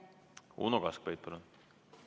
Uno Kaskpeit, palun!